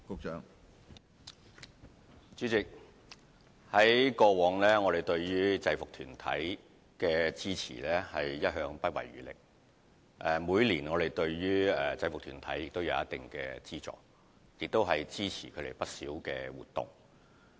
主席，我們對於制服團體的支持，過去一向是不遺餘力的，而且每年亦會給予一定的資助，更支持他們不少的活動。